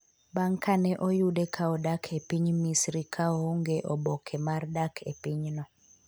bang’ ka ne oyude ka odak e piny misri ka oonge oboke mar dak e pinyno